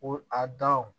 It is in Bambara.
O a daw